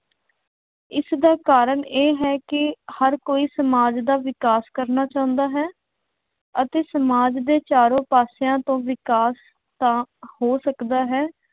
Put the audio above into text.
ਇਸਦਾ ਕਾਰਨ ਇਹ ਹੈ ਕਿ ਹਰ ਕੋਈ ਸਮਾਜ ਦਾ ਵਿਕਾਸ ਕਰਨਾ ਚਾਹੁੰਦਾ ਹੈ ਅਤੇ ਸਮਾਜ ਦੇ ਚਾਰੋਂ ਪਾਸਿਆਂ ਤੋਂ ਵਿਕਾਸ ਤਾਂ ਹੋ ਸਕਦਾ ਹੈ,